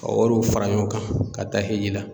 Ka wariw fara ɲɔgɔn kan ka taa Eji la.